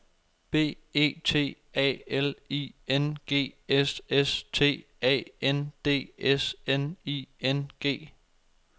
B E T A L I N G S S T A N D S N I N G